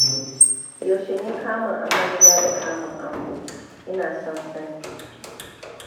Yaushe ne kamun amarya da kamun angon? Ina son sani